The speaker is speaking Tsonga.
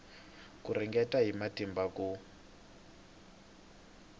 ku ringeta hi matimba ku